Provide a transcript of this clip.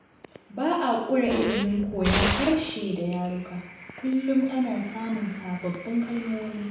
Ba a ƙure ilimin koyon harshe da yaruka kullum ana samun sababbin kalmomi